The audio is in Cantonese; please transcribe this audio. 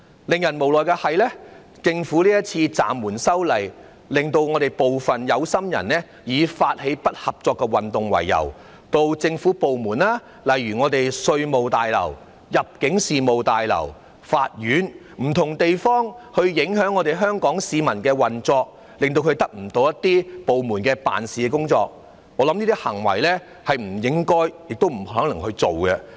不過，無奈的是政府今次暫緩修例，令部分有心人以發起不合作運動為由，到政府部門，例如稅務大樓、入境事務大樓、法院等不同地方影響市民的運作，令他們得不到政府部門的服務，我覺得這些行為是不應該，也不能做的。